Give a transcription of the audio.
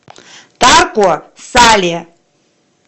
тарко сале